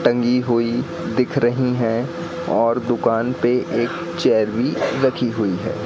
टंगी हुई दिख रही है और दुकान पे एक चेयर भी रखी हुई है।